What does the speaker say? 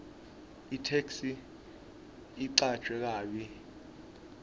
itheksthi icanjwe kabi